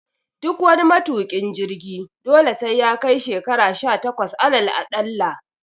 Duk wani matuƙin jirgi dole sai yakai shekara sha takwas alal aɗalla